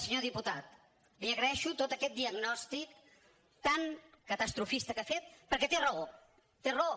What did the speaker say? senyor diputat li agraeixo tot aquest diagnòstic tan catastrofista que ha fet perquè té raó té raó